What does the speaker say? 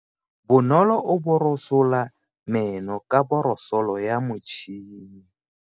Bonolo o borosola meno ka borosolo ya motšhine.